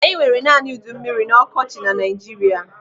Anyị nwere naanị udummiri na ọkọchị na Naijiria.